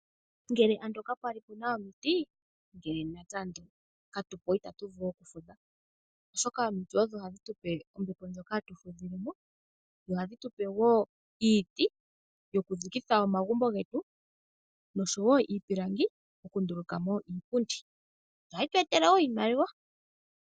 Ngele ando ka pwali puna omiti, ngele natse ando katupo itatu vulu oku fudha oshoka omiti odho hadhi tupe ombepo ndjoka hatu fudhilemo nohadhi tupe woo iiti yoku dhikitha omagumbo getu noshowo iipilangi oku ndulukamo iipundi ohayi tu etele woo iimaliwa